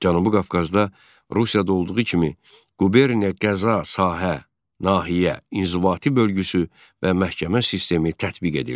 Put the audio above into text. Cənubi Qafqazda Rusiyada olduğu kimi Quberniya, qəza, sahə, nahiyə inzibati bölgüsü və məhkəmə sistemi tətbiq edildi.